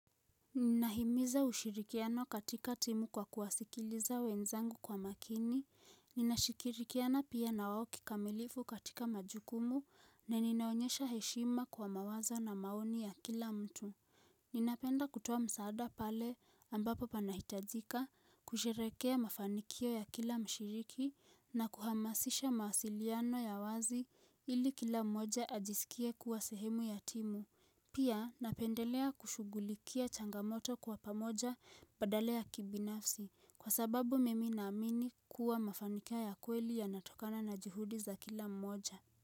Ninahimiza ushirikiano katika timu kwa kuwasikiliza wenzangu kwa makini, ninashirikiana pia na wao kikamilifu katika majukumu, na ninaonyesha heshima kwa mawazo na maoni ya kila mtu Ninapenda kutoa msaada pale ambapo panahitajika kusherehekea mafanikio ya kila mshiriki na kuhamasisha mawasiliano ya wazi ili kila mmoja ajisikie kuwa sehemu ya timu Pia napendelea kushugulikia changamoto kwa pamoja badala ya kibinafsi kwa sababu mimi naamini kuwa mafanikio ya kweli yanatokana na juhudi za kila mmoja.